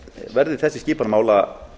verði þessi skipan mála